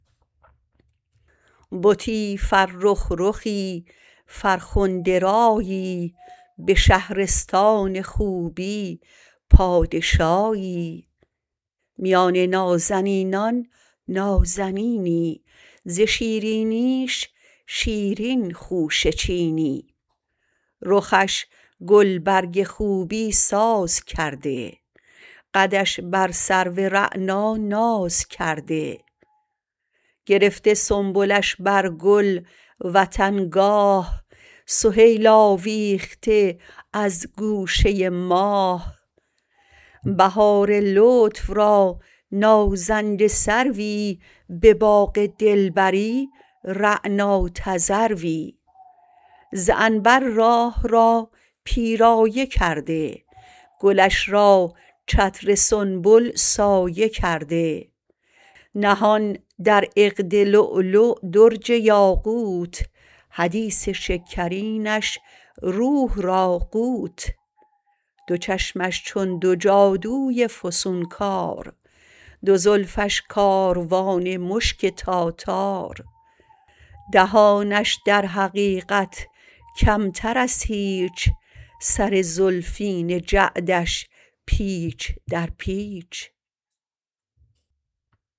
بتی فرخ رخی فرخنده رایی به شهرستان خوبی پادشاهی میان نازنینان نازنینی ز شیرینیش شیرین خوشه چینی رخش گلبرگ خوبی ساز کرده قدش بر سرو رعنا ناز کرده گرفته سنبلش بر گل وطن گاه سهیل آویخته از گوشه ماه بهار لطف را نازنده سروی به باغ دلبری رعنا تذروی ز عنبر راه را پیرایه کرده گلش را چتر سنبل سایه کرده نهان در عقد لؤلؤ درج یاقوت حدیث شکرینش روح را قوت دو چشمش چون دو جادوی فسونکار دو زلفش کاروان مشگ تاتار دهانش در حقیقت کمتر از هیچ سر زلفین جعدش پیچ در پیچ